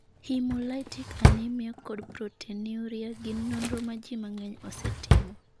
Hemolytic anemia, kod proteinuria gin nonro ma ji mang'eny osetimo.